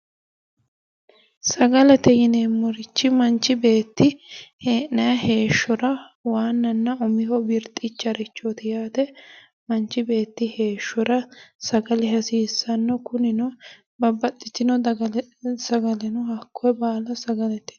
Sagalete yineemmorichi manchi beetti hee'nayi heeshshora waanana umonna birixicharichoti , manchi beetti heeshshora sagale hasiisano kunino babbaxitino sagale no